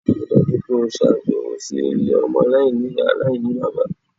Ríi dájú pé o ṣàbẹ̀wò sí ilé ọmọ aláìní-Ìyá aláìní-bàbá.!